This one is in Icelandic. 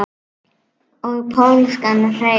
Og pólskan hreim.